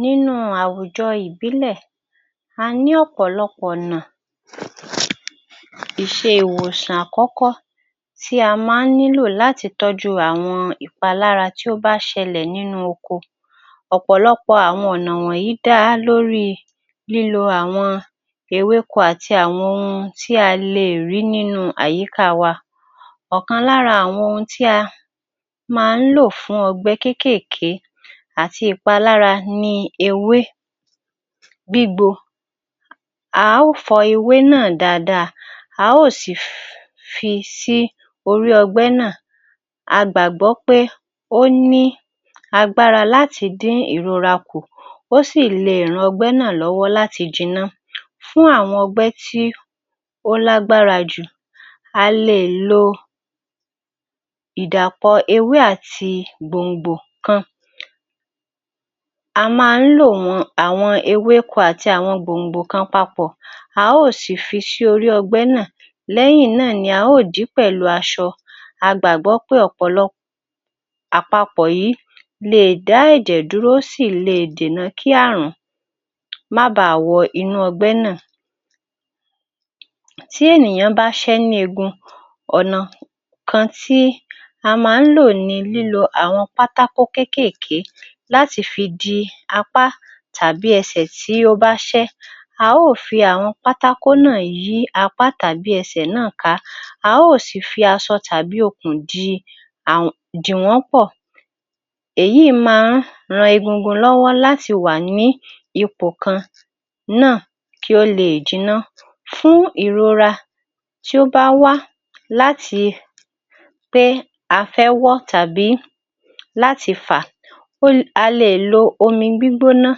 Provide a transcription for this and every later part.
Nínú àwùjọ ìbílẹ̀, a ní ọ̀pọ̀lọpọ̀ ọ̀nà bíi ìwòsàn àkọ́kọ́ tí a máa ń lò láti tọ́jú ìpalára tí ó máa ń ṣẹlẹ̀ nínú oko. Ọ̀pọ̀lọpọ̀ àwọn wọ̀nyí dá lori lílo àwọn ewéko àti ohun tí a lè rí nínú àyíká wa. Ọ̀kan lára àwọn ohun tí a máa ń lò fún ọgbẹ́ kéékèèke àti ìpalára ni ewé gbígbo. A ó fọ ewé náa dáadáa, à óò si fi si orí ọgbẹ́ náa. A gbàgbọ́ pé ó ni agbára láti dín ìrora kù, ó sì lè ran ọgbẹ́ náa lọ́wọ́ láti jinná. Fún àwọn ọgbẹ́ tí ó lágbara jù, a le è lo ìdàpọ̀ ewé àti gbòǹgbò kan. A máa ń lò wọ́n àwọn ewé kan àti gbòǹgbò kan papọ̀ à ó sì fi sí orí ọgbẹ́ náa, lẹ́yìn náa ni a ó dì i pẹ̀lú aṣọ. A gbàgbọ́ pé ọ̀pọ̀lọ àpapọ̀ yìí leè dá ẹ̀jẹ̀ dúró, ó sì le dènà kí ààrùn má baà wọ inú ọgbẹ́ náà. Tí ènìyàn bá ṣẹ́ ní eegbun, ọ̀nà kan tí a máa ń lò nilílo àwọn pátákó kéékèèké láti fi di apá tàbí ẹsẹ̀ tí ó bá ṣẹ́. A ó fi àwọn pátákó náà yí apá tàbí ẹsẹ̀ náà ká, a óò sì fi aṣọ tàbí okùn dì í, dì wọ́n pọ. Èyí máa ń ran egungun lọ́wọ́ láti wà ní ipò kan náà kí ó leè jinná. Fún ìrora tí ó bá wá láti pé a fẹ́ wọ́ tàbí láti fà o a leè lo omi gbígbóná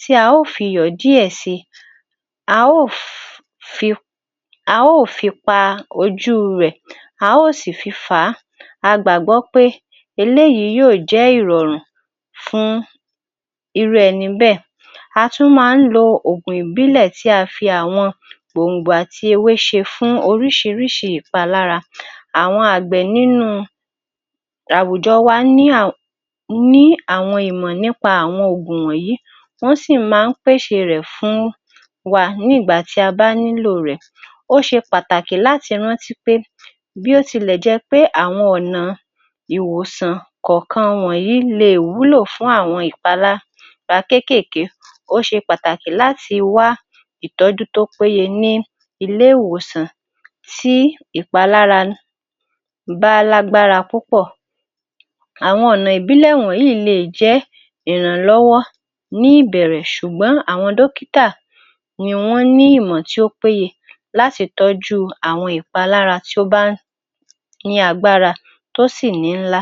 tí a ó fiyọ̀ díẹ̀ sí i, a ó fi a ó fi pa ojú rẹ̀, a ó sì fi fà á. A gbàgbọ́ pé eléyìí yòó jẹ́ ìrọ̀rùn fún irú ẹni bẹ́ẹ̀. A tún máa ń lo òògùn ìbílẹ̀ tí a fi àwọn gbòǹgbò àti ewé ṣe fún oríṣìíríṣìí ìpalára. Àwọn àgbẹ̀ nínú àwùjọ wá ní àwọn ìmọ̀ nípa àwọn òògùn wọ̀nyí, wọ́n sì máa ń pèsè rẹ̀ fún wa nígbá tí a bá nílò rẹ̀. Ó ṣe pàtàkì láti rántí pé bí ó tilẹ̀ jẹ́ pé àwọn ọ̀nà ìwòsàn kọ̀ọ̀kan wọ̀nyí leè wúlò fùn àwọn ìpalára kéékèèké, ó ṣe pàtàkì làti wá ìtọ́jú tó péye ní ilé ìwòsàn tí ìpalára bá lágbára púpọ̀. Àwọn ọ̀nà ìbílẹ̀ wọ̀nyí leè jẹ́ ìrànlọ́wọ́ ní ìbẹ̀rẹ̀ ṣùgbọ́n àwọn dókítà ni wọ́n ní ìmọ̀ tí ó péye láti tọ́jú àwọn ìpalára tí o bá ní agbára tó sì níńlá.